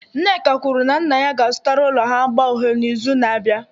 Nneka kwuru na nna ya ga-azụtara ụlọ ha agba uhie n'izu na-abịa.